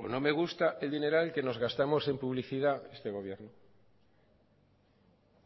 no me gusta el dineral que nos gastamos en publicidad este gobierno